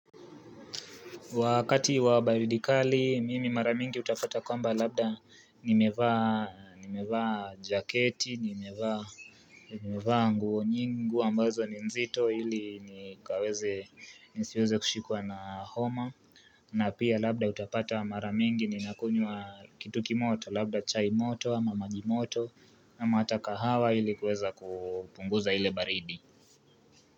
Wakati wa baridi kali, mimi mara mingi utapata kwamba labda nimevaa jaketi, nimevaa nguo nyingi, nguo ambazo ni nzito ili nisiweze kushikuwa na homa. Na pia labda utapata mara mingi ninakunywa kitu kimoto, labda chai moto ama maji moto, ama hata kahawa ili kuweza kupunguza ile baridi.